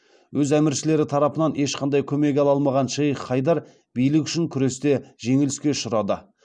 өз әміршілері тарапынан ешқандай көмек ала алмаған шейх хайдар билік үшін күресте жеңіліске ұшырады